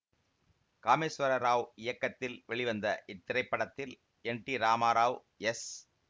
காமேஸ்வர ராவ் இயக்கத்தில் வெளிவந்த இத்திரைப்படத்தில் என் டி ராமராவ் எஸ்